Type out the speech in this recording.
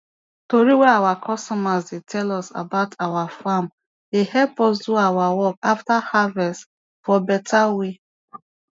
tori wey our customers dey tell us about our farm dey help us do our work after harvest for beta way